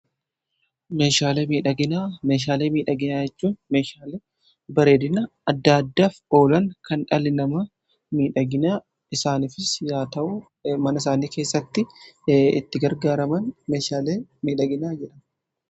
meeshaalee miidhagina jechuun meeshaale bareedina adda addaaf oolan kan dhalli namaa miidhaginaa isaanif yaa ta'u mana isaanii keessatti itti gargaaraman meeshaalee miidhaginaa jedhamu.